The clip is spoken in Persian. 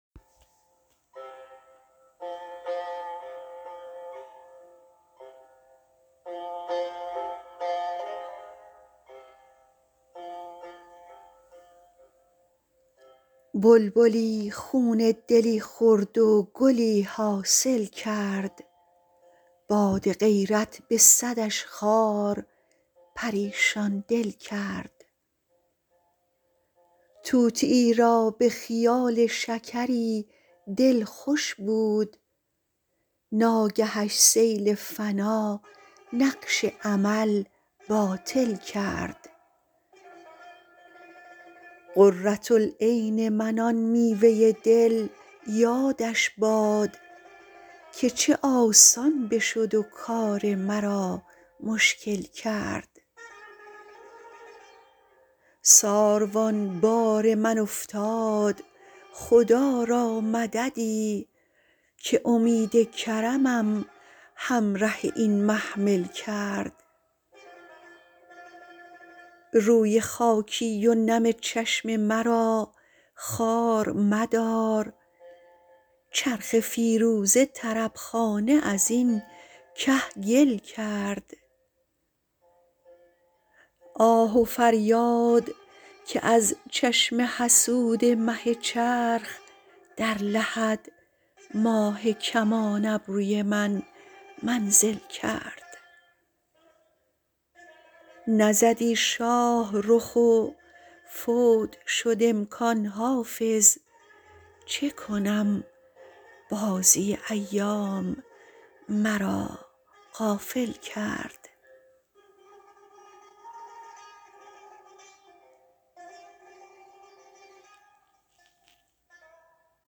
بلبلی خون دلی خورد و گلی حاصل کرد باد غیرت به صدش خار پریشان دل کرد طوطیی را به خیال شکری دل خوش بود ناگهش سیل فنا نقش امل باطل کرد قرة العین من آن میوه دل یادش باد که چه آسان بشد و کار مرا مشکل کرد ساروان بار من افتاد خدا را مددی که امید کرمم همره این محمل کرد روی خاکی و نم چشم مرا خوار مدار چرخ فیروزه طرب خانه از این کهگل کرد آه و فریاد که از چشم حسود مه چرخ در لحد ماه کمان ابروی من منزل کرد نزدی شاه رخ و فوت شد امکان حافظ چه کنم بازی ایام مرا غافل کرد